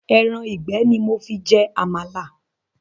Ẹran ìgbẹ́ ni mo fi jẹ Àmàlà